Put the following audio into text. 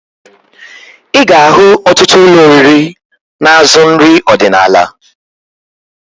Ị ga-ahụ otụtụ ụlọ oriri na-azụ nrị ọdịnaala